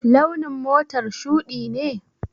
Launin motar shuɗi ne?